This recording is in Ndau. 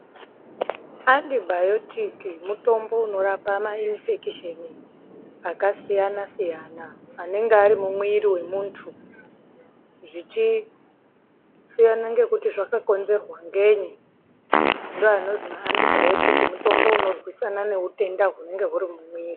Antibiotic mutombo unorapa mainifekisheni akasiyana siyana anenge ari mumwiri wemuntu zvichisiyana ngekuti zvakakonzerwa ngenyi\. n Ndiwo anonzi ma antibiotic mutombo unorwisana neutenda hunenge huri mumwiri .